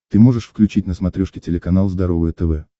ты можешь включить на смотрешке телеканал здоровое тв